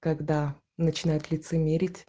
когда начинают лицемерить